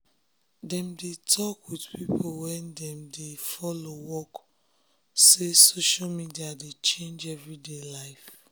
dem dey talk wit pipo wey dem de follow work say social media dey change everyday life.